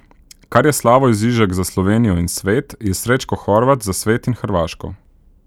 Kar je Slavoj Žižek za Slovenijo in svet, je Srećko Horvat za svet in Hrvaško.